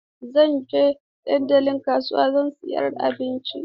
Zan je dandalin kasuwa don siyan abinci.